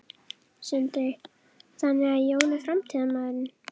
Sindri: Þannig að Jón er framtíðarmaðurinn?